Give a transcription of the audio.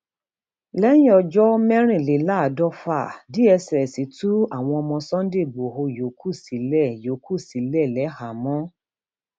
lẹyìn ọjọ mẹrìnléláàádọfà dss tú àwọn ọmọ sunday igbodò yòókù sílẹ yòókù sílẹ lẹhàámọ